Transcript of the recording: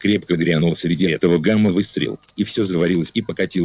крепко грянул среди этого гама выстрел и все заварилось и покатилось